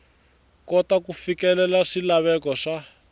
kota ku fikelela swilaveko swa